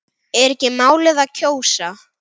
Er ekki málið að kjósa?